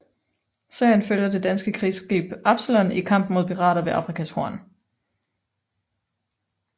Serien følger det danske krigsskib Absalon i kampen mod pirater ved Afrikas Horn